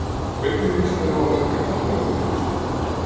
Hvernig lýst þér á að mæta Keflavík í úrslitaleik?